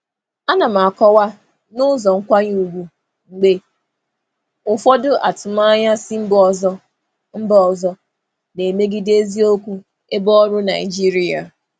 Ana m akọwa n'ụzọ nkwanye ùgwù mgbe ụfọdụ atụmanya si mba ọzọ na-emegide eziokwu ebe ọrụ Naịjirịa.